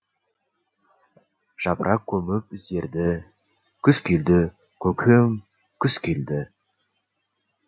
жапырақ көміп іздерді күз келді көкем күз келді